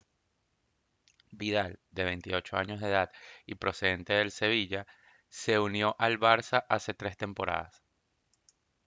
vidal de 28 años de edad y procedente del sevilla se unió al barça hace tres temporadas